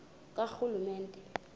karhulumente